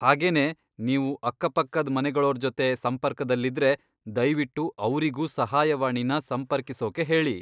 ಹಾಗೇನೇ, ನೀವು ಅಕ್ಕಪಕ್ಕದ್ ಮನೆಗಳೋರ್ಜೊತೆ ಸಂಪರ್ಕದಲ್ಲಿದ್ರೆ, ದಯ್ವಿಟ್ಟು ಅವ್ರಿಗೂ ಸಹಾಯವಾಣಿನ ಸಂಪರ್ಕಿಸೋಕೆ ಹೇಳಿ.